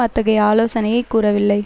அத்தகைய ஆலோசனையை கூறவில்லை